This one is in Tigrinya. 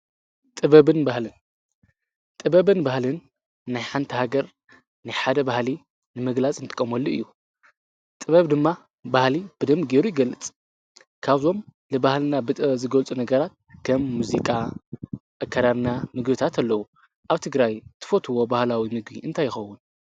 ጥበብን ባህልን ናይ ሓንቲ ሃገር ናይ ሓደ ባህሊ ንምግላፅ ንጥቀመሉ እዩ። ጥበብ ድማ ባህሊ ብደንቢ ጌሩ ይገልፅ። ካብዞም ንባህልና ብጥበብ ዝገልፁ ነገራት ከም ሙዚቃ፣ ኣከዳድና፣ ምግቢታት አለዉ ። አብ ትግራይ ትፈትዉዎ ባህላዊ ምግቢ እንታይ ይከዉን?